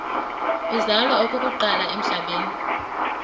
uzalwa okokuqala emhlabeni